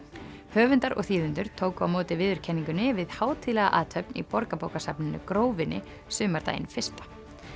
höfundar og þýðendur tóku á móti viðurkenningunni við hátíðlega athöfn í Borgarbókasafninu Grófinni sumardaginn fyrsta